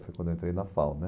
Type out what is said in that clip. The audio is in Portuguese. Foi quando eu entrei na FAU né